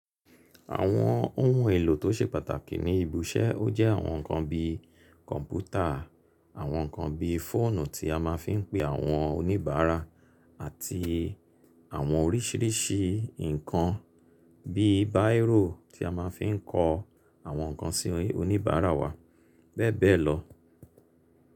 Àwọn ohun èlò tó ṣe pàtàkì ní ibi iṣẹ́, ó jẹ́ àwọn nǹkan bí kọ̀ǹpútà, àwọn nǹkan bí fóònù tí a ma ń fi ń pe àwọn oníbàárà àti àwọn oríṣìíríṣìí nǹkan bí báíróò tí a ma ń fi ń kọ àwọn nǹkan sí oníbàárà wa bẹ́ẹ̀ bẹ́ẹ̀ lọ.